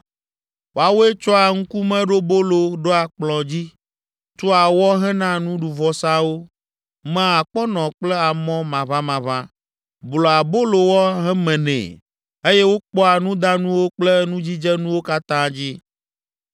Woawoe tsɔa ŋkumeɖobolo ɖoa kplɔ̃ dzi, tua wɔ hena nuɖuvɔsawo, mea akpɔnɔ kple amɔ maʋamaʋã, blua abolowɔ hemenɛ eye wokpɔa nudanuwo kple nudzidzenuwo katã dzi.